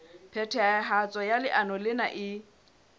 phethahatso ya leano lena e